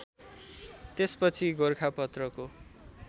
त्यसपछि गोरखापत्रको